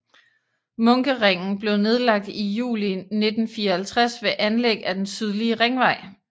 Munkeringen blev nedlagt i juli 1954 ved anlæg af den sydlige ringvej